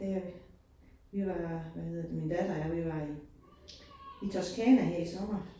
Det øh vi var hvad hedder det min datter og jeg, vi var i i Toscana her i sommer